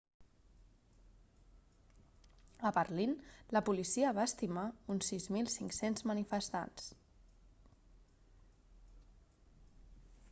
a berlín la policia va estimar uns 6.500 manifestants